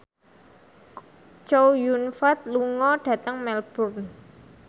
Chow Yun Fat lunga dhateng Melbourne